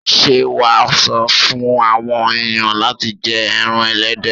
Ṣé wà sọ fún àwọn ẹ̀yàn láti jẹ ẹran Ẹlẹ́dẹ̀.